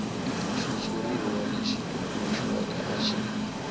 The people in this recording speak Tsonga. xitshuriwa lexi tumbuluxiweke a xi